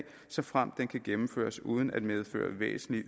såfremt den kan gennemføres uden at medføre væsentlig